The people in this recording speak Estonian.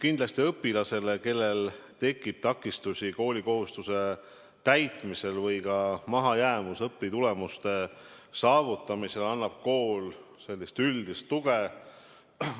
Kindlasti õpilasele, kellel tekib takistusi koolikohustuse täitmisel või mahajäämus õpitulemuste saavutamisel, annab kool sellist üldist tuge.